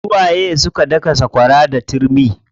Su waye suka daka sakwara da turmi?